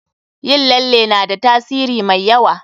Yin lalle na da tasiri mai yawa.